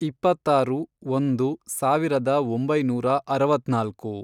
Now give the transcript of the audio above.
ಇಪ್ಪತ್ತಾರು ಒಂದು ಸಾವಿರದ ಒಂಬೈನೂರ ಅರವತ್ನಾಲ್ಕು